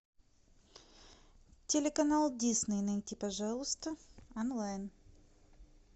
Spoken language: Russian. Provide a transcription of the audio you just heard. телеканал дисней найти пожалуйста онлайн